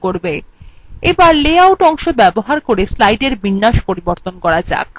এবার layout অংশ ব্যবহার করে slide বিন্যাস পরিবর্তন করা যাক